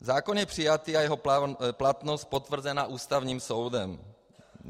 Zákon je přijatý a jeho platnost potvrzena Ústavním soudem.